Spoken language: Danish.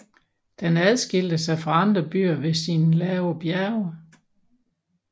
Den adskilte sig fra andre byer ved sine lave bjerge